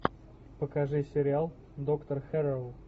покажи сериал доктор хэрроу